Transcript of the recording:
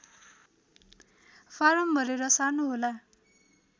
form भरेर सार्नुहोला